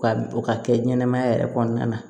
U ka o ka kɛ ɲɛnɛmaya yɛrɛ kɔnɔna na